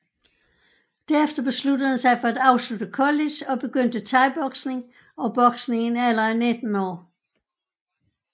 Derefter besluttede han sig for at afslutte college og begyndte Thaiboksning og Boksning i en alder af 19 år